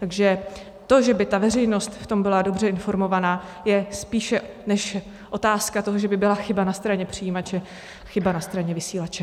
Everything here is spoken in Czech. Takže to, že by ta veřejnost v tom byla dobře informovaná, je spíše než otázka toho, že by byla chyba na straně přijímače, chyba na straně vysílače.